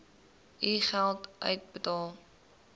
u geld uitbetaal